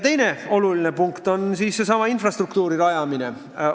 Teine oluline teema on seesama infrastruktuuri rajamine.